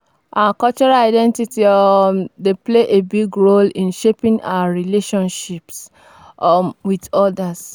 our cultural identity um dey play a big role in shaping our relationships um with odas.